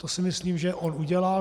To si myslím, že on udělal.